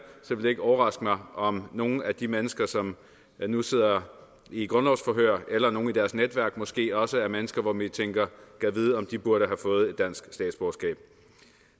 ville det ikke overraske mig om nogle af de mennesker som nu sidder i grundlovsforhør eller nogle i deres netværk måske også er mennesker hvor man tænker gad vide om de burde have fået et dansk statsborgerskab